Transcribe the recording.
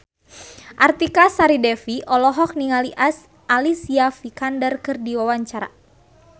Artika Sari Devi olohok ningali Alicia Vikander keur diwawancara